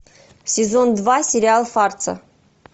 сезон два сериал фарца